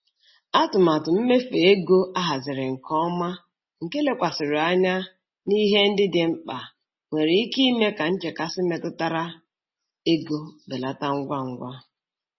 Atụmatụ mmefu ego ahaziri nke ọma nke lekwasịrị anya na ihe ndị dị mkpa nwere ike ime ka nchekasị metụtara ego belata ngwa ngwa.